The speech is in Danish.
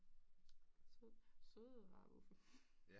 Søde rare vuffe